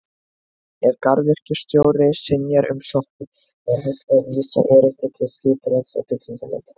Ef garðyrkjustjóri synjar umsókn er hægt að vísa erindi til Skipulags- og bygginganefndar.